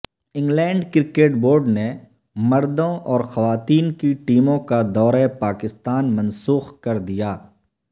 England cricket board نے مردوں اور خواتین کی ٹیموں کا دورہ پاکستان منسوخ کر دیا